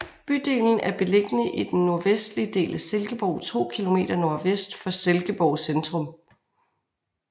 Bydelen er beliggende i den nordvestlige del af Silkeborg to kilometer nordvest for Silkeborg centrum